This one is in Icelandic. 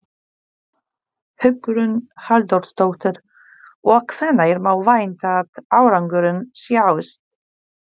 Hugrún Halldórsdóttir: Og hvenær má vænta að árangurinn sjáist?